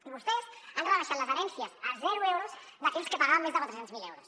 i vostès han rebaixat les herències a zero euros d’aquells que pagaven més de quatre cents miler euros